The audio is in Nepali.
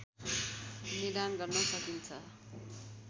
निदान गर्न सकिन्छ